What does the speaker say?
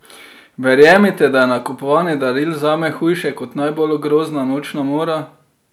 Verjemite, da je nakupovanje daril zame hujše kot najbolj grozna nočna mora!